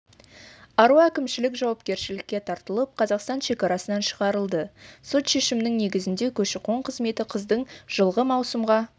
ару әкімшілік жауапкершілікке тартылып қазақстан шекарасынан шығарылды сот шешімінің негізінде көші-қон қызметі қыздың жылғы маусымға